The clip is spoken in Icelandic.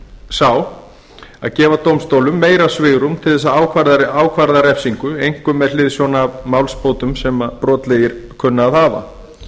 sá að gefa dómstólum meira svigrúm til að ákvarða refsingu einkum með hliðsjón af málsbótum sem brotlegir kunna að hafa